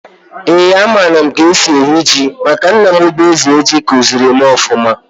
Eeǃ A mara m k'esi eyi ji, maka nna m bu Eze Ji, kuziri m ọfụma.